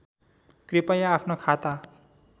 कृपया आफ्नो खाता